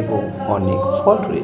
এবং অনেক ফল রয়েছে।